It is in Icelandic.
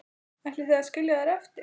Ætlið þið að skilja þær eftir?